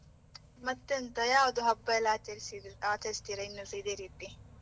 ಮತ್ತೆಂತ, ಯಾವುದು ಹಬ್ಬ ಎಲ್ಲ ಆಚರಿಸು~ ಆಚರಿಸುತ್ತೀರಾ ಇನ್ನುಸ ಇದೆ ರೀತಿ?